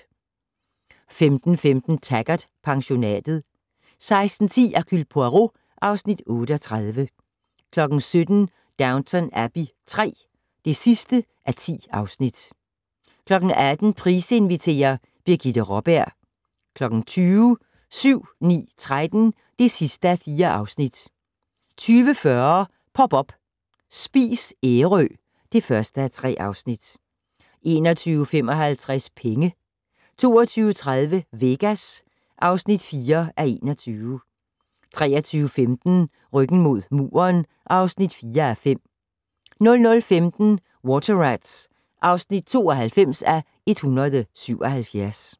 15:15: Taggart: Pensionatet 16:10: Hercule Poirot (Afs. 38) 17:00: Downton Abbey III (10:10) 18:00: Price inviterer- Birgitte Raaberg 20:00: 7-9-13 (4:4) 20:40: Pop up - Spis Ærø (1:3) 21:55: Penge 22:30: Vegas (4:21) 23:15: Ryggen mod muren (4:5) 00:15: Water Rats (92:177)